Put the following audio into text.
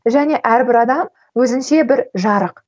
және әрбір адам өзінше бір жарық